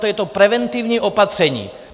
To je to preventivní opatření.